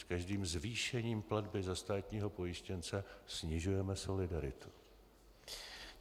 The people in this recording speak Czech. S každým zvýšením platby za státního pojištěnce snižujeme solidaritu.